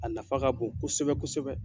A nafa ka bon kosɛbɛ kosɛbɛ.